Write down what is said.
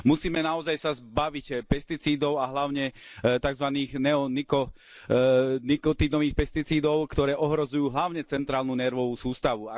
Musíme naozaj sa zbaviť pesticídov a hlavne takzvaných neonikotínových pesticídov, ktoré ohrozujú hlavne centrálnu nervovú sústavu.